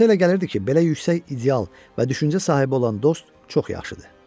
Hansa elə gəlirdi ki, belə yüksək ideal və düşüncə sahibi olan dost çox yaxşıdır.